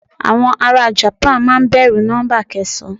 Àwọn ará japan a máa bẹ̀rù nọ́ḿbà kẹsàn-án.